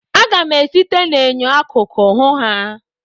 Aga m esite n'enyo akụkụ hụ ha.